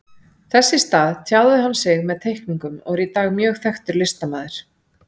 Þess í stað tjáði hann sig með teikningum og er í dag mjög þekktur listamaður.